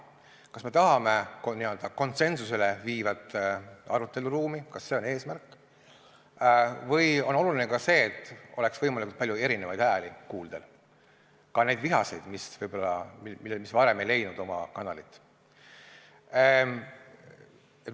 Kas me tahame n-ö konsensusele viivat aruteluruumi, kas see on eesmärk, või on oluline ka see, et oleks võimalikult palju eri hääli kuulda, ka neid vihaseid, mis võib-olla varem ei leidnud oma kanalit?